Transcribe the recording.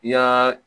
I y'aa